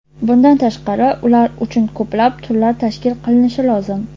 Bundan tashqari, ular uchun ko‘plab turlar tashkil qilinishi lozim.